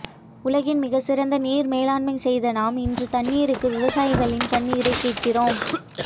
உலகின் மிக சிறந்த நீர் மேலாண்மை செய்தநாம் இன்று தண்ணீருக்கு விவசாயிகளின்கண்ணீரை கேட்க்கிறோம்